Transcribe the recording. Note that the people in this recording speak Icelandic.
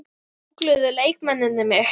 Gúggluðu leikmennirnir mig?